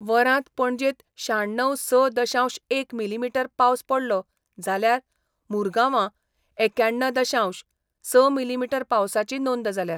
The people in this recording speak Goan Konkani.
वरांत पणजेत श्याण्णव स दशांश एक मिली मिटर पावस पडलो जाल्यार मुरगांवा एक्याण्ण दशांश स मिली मिटर पावसाची नोंद जाल्या.